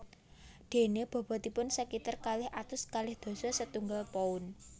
Déné bobotipun sakitar kalih atus kalih dasa setunggal pound